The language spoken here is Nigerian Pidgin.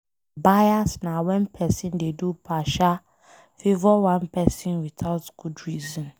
Bias na wen pesin dey do partial, favour one pesin without good reason.